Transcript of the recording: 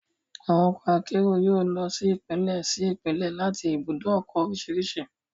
Àwọn ọkọ akérò yóò lọ sí Ìpínlẹ̀ sí Ìpínlẹ̀ láti ibùdó ọkọ̀ oríṣiríṣi